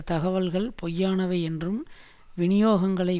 தகவல்கள் பொய்யானவை என்றும் விநியோகங்களை